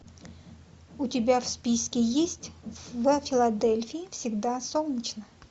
у тебя в списке есть в филадельфии всегда солнечно